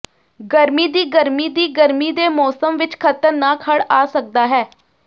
ਗਰਮੀ ਦੀ ਗਰਮੀ ਦੀ ਗਰਮੀ ਦੇ ਮੌਸਮ ਵਿਚ ਖ਼ਤਰਨਾਕ ਹੜ੍ਹ ਆ ਸਕਦਾ ਹੈ